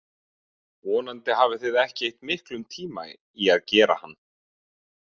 Vonandi hafið þið ekki eytt miklum tíma í að gera hann.